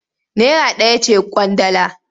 Naira ɗaya ce ƙwandala.